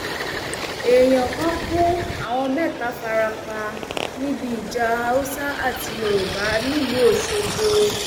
èèyàn kan kú àwọn mẹta fara pa níbi ìjà haúsá àti yorùbá nílùú ọṣọgbó